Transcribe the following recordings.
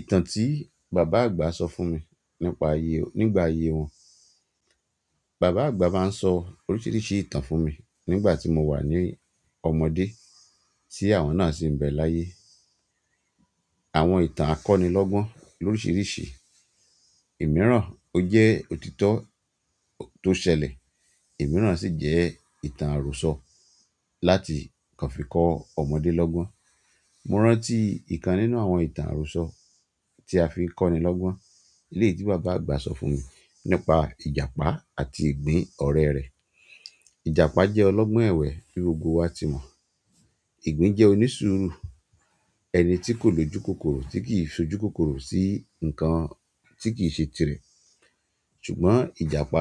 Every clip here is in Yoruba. Ìtàn tí bàbá àgbà sọ fún mi nípa ayé, nígbà ayé wọn. Bàbá àgbà máa ń sọ oríṣiríṣi ìtàn fún mi nígbà tí mo wà ní ọmọdé, tí àwọn náà sì ń bẹ láyé. Àwọn ìtàn akọni lọ́gbon loríṣiríṣi. Ìmíràn o jẹ́ òtítọ́ tó ṣẹlẹ̀, ìmíràn sì jẹ́ ìtàn àròsọ láti kan fi kọ́ ọmọdé lọ́gbon. Mo rántí ìkan nínú àwọn ìtàn àròsọ tí a fi ń kọ́ni lọ́gbon. Eleyi tí bàbá àgbà sọ fún mi nípa Ìjàpá àti ìgbín ọ̀rẹ́ rẹ̀. Ìjàpá jẹ́ ọlọ́gbọ́n ẹ̀wẹ́ bí gbogbo wa ti mọ̀. Ìgbín jẹ́ onísùúrù, ẹni tí kò lojúkokoro, tí kì í ṣojúkokoro sí nǹkan tí kìí ṣe tirẹ̀. Ṣùgbọ́n Ìjàpá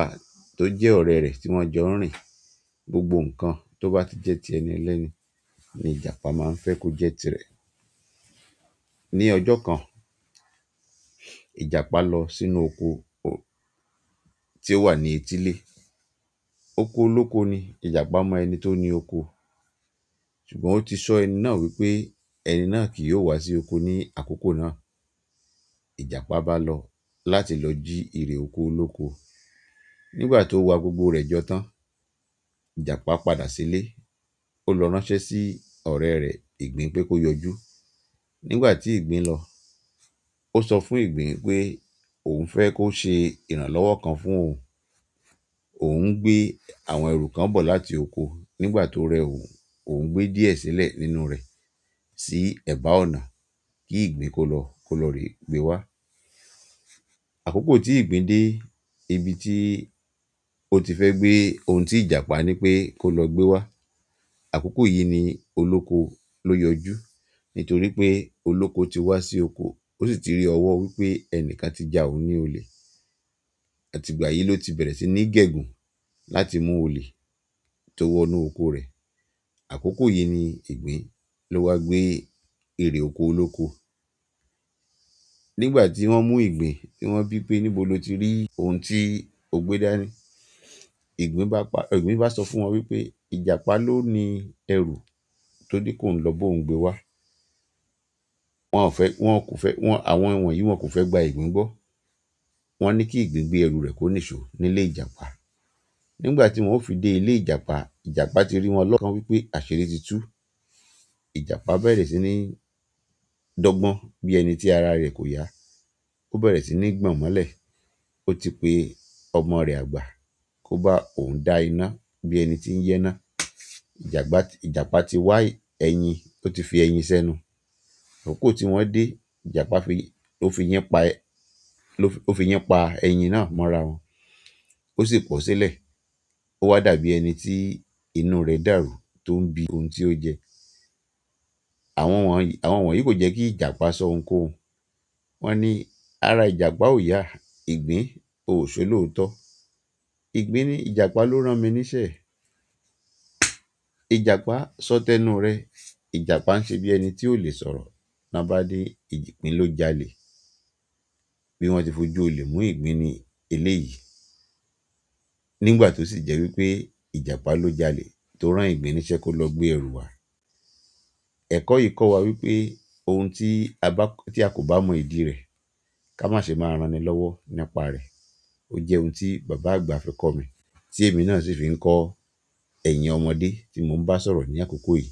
tó jẹ́ ọ̀rẹ́ rẹ̀ tí wọ́n jọ ń rìn, gbogbo nǹkan tó bá ti jẹ́ ti ẹni lẹ́ẹ́ni ni Ìjàpá máa ń fẹ́ kó jẹ́ tirẹ̀. Ni ọjọ́ kan, Ìjàpá lọ sínú oko tí ó wà ní etílé. Oko olóko ni, Ìjàpá mọ ẹni tó ni oko, ṣùgbọ́n ó ti sọ ẹni náà wípé ẹni náà kì yóò wá sí oko ní àkókò náà. Ìjàpá bá lọ láti lọ jí èrè oko olóko. Nígbà tó wa gbogbo rẹ̀ jọ tán, Ìjàpá padà sílé. Ó lọ ránṣẹ́ sí ọ̀rẹ́ rẹ̀, Ìgbín pé kó yọjú. Nígbà tí Ìgbín lọ, ó sọ fún Ìgbín pé òun fẹ́ kó ṣe ìrànlọ́wọ́ kan fún òun. Òun gbé àwọn ẹrù kan bọ̀ láti oko, nígbà tó rẹ òun, òun gbé díẹ̀ sílẹ̀ nínú rẹ̀ sí ẹ̀bá ọ̀nà kí Ìgbín kó lọ, kó lọ rè gbé wá. Àkókò tí Ìgbín dé ibi tí ó ti fẹ́ gbé ohun tí Ìjàpá ní pé kó lọ gbé wá, àkókò yìí ni olóko ló yọjú. Nítorí pé olóko ti wá sí oko, ó sì ti rí ọwọ́ wípé ẹnìkan ti jà òun ní olè. Àti ìgbà yìí ló ti bẹ̀rẹ̀ sí ní gẹ̀gùn láti mú olè tó wọ inú oko rẹ̀. Àkókò yìí ni igbín ló wá gbé èrè oko olóko. Nígbà tí wọ́n mú Ìgbín, tí wọ́n bí pé níbo lo ti rí ohun tí o gbé dání. Ìgbín bá pa, Ìgbín bá sọ fún wọn wípé Ìjàpá ló ni ẹrù tó ní ki óun lọ bo òun gbé wá. Wọn kò fẹ́, àwọn wọ̀nyìí wọn kò fẹ́ gba Ìgbín gbọ́. Wọn ní kí Ìgbín gbé ẹrù rẹ̀ kó níṣò nílé Ìjàpá. Nígbà tí wọ́n ó fi dé ilé Ìjàpá, Ìjàpá ti rí wọn lọ́kàn wípé àṣiri ti tú. Ìjàpá bẹ̀rẹ̀ sí ní dọ́gbọ́n bí ẹni tí ara rẹ̀ kò yá. Ó bẹ̀rẹ̀ sí ní gbọ̀n mọ́lẹ̀. Ó ti pe ọmọ rẹ̀ àgbà kó bá òun dá iná bí ẹni tí ń ya iná. Ìjàpá, Ìjàpá ti wá ẹyin, ó ti fi ẹyin sẹ́nu. Akoko tí wọ́n dé, Ìjàpá fi, ó fi eyin pa, ó fi eyin pa ẹyin náà mọ́ra wọn. Ó sì pọ́ sílẹ̀. Ó wá dàbí ẹni tí inú rẹ̀ dàrú tó n bi ohun tí ó jẹ. Àwọn wọ̀nyí, àwọn wọ̀nyìí kò jẹ́ kí Ìjàpá sọ ohunkóhun. Won ni ara ìjàpá o yaa, igbin oyi se olooto Ìgbín ní "Ìjàpá ló rán mi níṣẹ́." Ìjàpá sọ́tẹ́nu rẹ̀. Ìjàpá ń ṣe bí ẹni tí ò lè sọ̀rọ̀. Ná bá nìí, Ìgbín ló jalè. Bí wọ́n ti fojú olè mú Ìgbín ní eléyìí. Nígbà tó sì jẹ́ wípé Ìjàpá ló jalè tó rán Ìgbín níṣẹ́ kó lọ gbé ẹrù wá. Ẹ̀kọ́ yìí kọ́ wa wípé ohun tí a bá, tí a kò bá mọ ìdí rẹ̀, ká má ṣe máa ranni lọ́wọ́ nípa rẹ̀. Ó jẹ́ ohun tí bàbá àgbà fi kọ́ mi, tí èmi náà sì fi ń kọ́ ẹ̀yin ọmọdé tí mo ń bá sọ̀rọ̀ ní àkókò yìí.